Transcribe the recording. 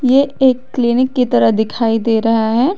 ये एक क्लीनिक की तरह दिखाई दे रहा है।